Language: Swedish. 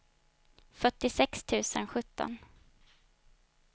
fyrtiosex tusen sjutton